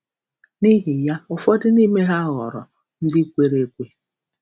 N’ihi ya, ụfọdụ n’ime ha ghọrọ ndị kwere ekwe